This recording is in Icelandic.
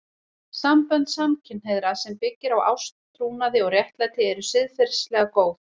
Sambönd samkynhneigðra sem byggja á ást, trúnaði og réttlæti eru siðferðilega góð.